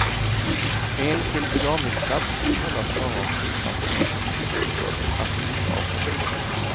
Enskild begravningsplats kan hållas bara av trossamfund och stiftelser, alltså inte av personer.